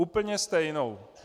Úplně stejnou.